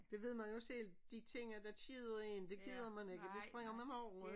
Det ved man jo selv de ting der keder en det gider man ikke det springer man over ik